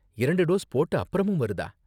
இரண்டு டோஸ் போட்ட அப்பறமும் வருதா?